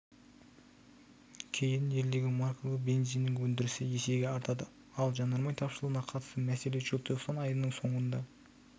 кейін елдегі маркалы бензиннің өндірісі есеге артады ал жанармай тапшылығына қатысты мәселе желтоқсан айының соңында